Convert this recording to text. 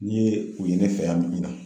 Mun ye nin ye ne fɛ yan